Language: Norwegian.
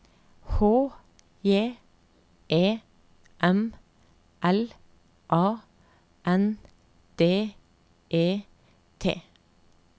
H J E M L A N D E T